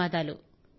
ధన్యవాదాలు